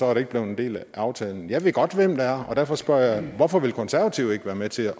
er blevet en del af aftalen jeg ved godt hvem det er og derfor spørger jeg hvorfor vil konservative ikke være med til